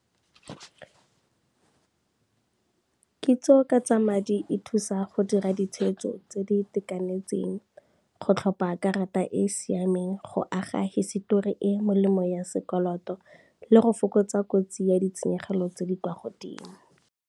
Kitso ka tsa madi e thusa go dira ditshwetso tse di itekanetseng go tlhopha karata e e siameng, go aga hisetori e molemo ya sekoloto le go fokotsa kotsi ya ditshenyegelo tse di kwa godimo.